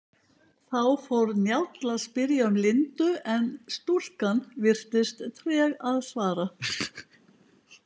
Þá fór Njáll að spyrja um Lindu en stúlkan virtist treg að svara.